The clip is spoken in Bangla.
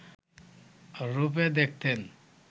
রূপে দেখতেন